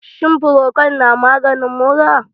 Shin Frokol na maganin mura?